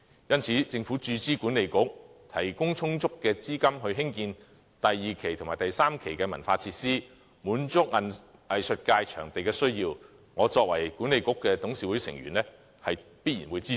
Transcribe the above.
因此，政府注資西九管理局，提供充足的資金興建第二期及第三期的文化設施，滿足藝術界對場地的需要，我作為西九管理局的董事會成員，必然會支持。